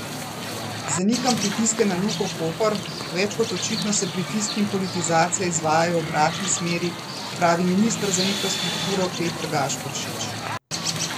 Zanikam pritiske na Luko Koper, več kot očitno se pritiski in politizacija izvajajo v obratni smer, pravi minister za infrastrukturo Peter Gašperšič.